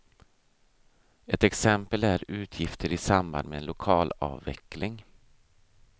Ett exempel är utgifter i samband med lokalavveckling.